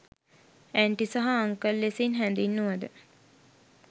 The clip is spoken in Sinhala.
ඇන්ටි සහ අන්කල් ලෙසින් හැඳින්වුවද